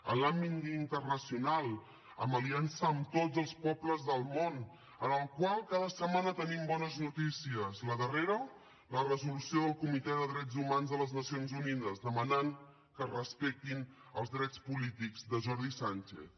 en l’àmbit internacional amb aliança amb tots els pobles del món en el qual cada setmana tenim bones notícies la darrera la resolució del comitè de drets humans de les nacions unides que demana que es respectin els drets polítics de jordi sànchez